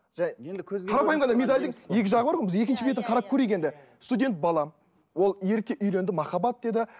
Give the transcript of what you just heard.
жай қарапайым ғана медальдің екі жағы бар ғой біз екінші бетін қарап көрейік енді студент бала ол ерте үйленді махаббат деді